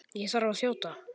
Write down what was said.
Ég þarf að þjóta.